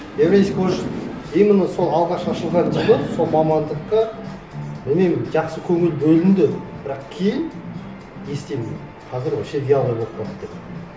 евразийский может именно сол алғаш ашылған жылы сол мамандыққа білмеймін жақсы көңіл бөлінді бірақ кейін естимін қазір вообще вялый болып қалды деп